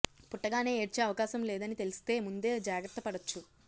పుట్టగానే ఏడ్చే అవకాశం లేదని తెలిస్తే ముందే జాగ్రత్త పడొచ్చు